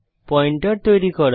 pointer তৈরী করা